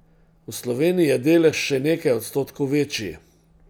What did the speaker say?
V Sloveniji je delež še nekaj odstotkov večji.